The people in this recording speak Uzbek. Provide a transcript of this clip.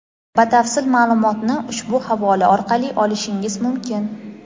Batafsil ma’lumotni ushbu havola orqali olishingiz mumkin.